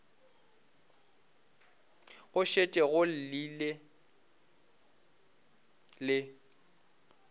go šetše go llile le